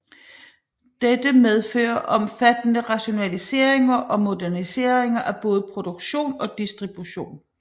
Dette medfører omfattende rationaliseringer og moderniseringer af både produktion og distribution